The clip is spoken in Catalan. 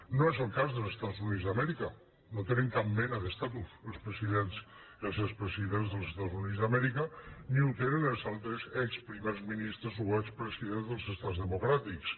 no és el cas dels estats units d’amèrica no tenen cap mena d’estatus els expresidents dels estats units d’amèrica ni en tenen els altres exprimers ministres o expresidents dels estats democràtics